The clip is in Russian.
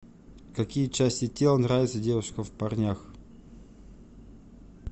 какие части тела нравятся девушкам в парнях